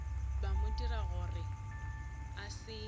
mo dira gore a se